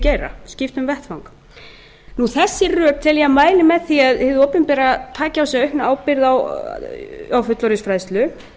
geira skipta um vettvang þessi rök tel ég að mæli með því að hið opinbera taki á sig aukna ábyrgð á fullorðinsfræðslu